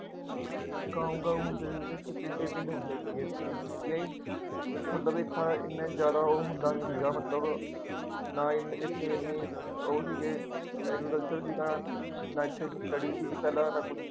ਗਾਉਂ ਗਾਉਂ ਹੁੰਦੇ ਸੀਗੇ ਅਤੇ ਪਿੰਡ ਏ ਪਿੰਡ ਹੁੰਦੇ ਸੀ ਇੱਥੇ ਹੀ, ਠੀਕ ਹੈ ਜੀ, ਮਤਲਬ ਇਹ ਥਾਂ ਐਨਾ ਜ਼ਿਆਦਾ ਉਹ ਹੁੰਦਾ ਨਹੀਂ ਸੀਗਾ, ਮਤਲਬ ਨਾ ਐਨੇ ਇੱਥੇ ਐਨੀ ਅਹ ਉਹ ਸੀਗੇ agriculture ਸੀਗਾ ਨਾ ਇੱਥੇ ਕੋਈ study ਸੀਗੀ ਪਹਿਲਾਂ ਸਾਰਾ ਕੁੱਝ